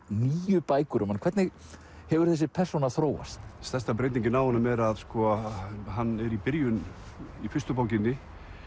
níu bækur um hann hvernig hefur þessi persóna þróast stærsta breytingin á honum er að hann er í byrjun í fyrstu bókinni